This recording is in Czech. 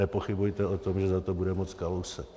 Nepochybujte o tom, že za to bude moct Kalousek.